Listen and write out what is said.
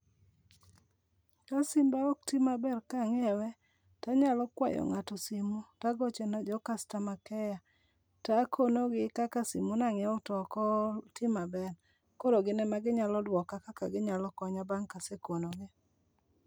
Ka simba okti maber kaanyiewe, tanyalo kwayo ngáto simu, tagocho ne jo customer care, takonogi kaka simu nanyiewo to okoti maber. Koro gin ema ginyalo dwoka kaka ginyalo konya bang' kasekonogi